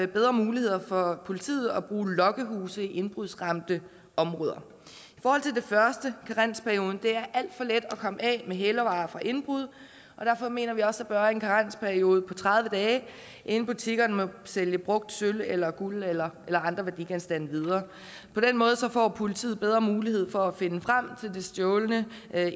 bedre muligheder for politiet for at bruge lokkehuse i indbrudsramte områder i karensperioden er det alt for let at komme af med hælervarer fra indbrud og derfor mener vi også der bør være en karensperiode på tredive dage inden butikkerne må sælge brugt sølv eller guld eller andre værdigenstande videre på den måde får politiet bedre mulighed for at finde frem til det stjålne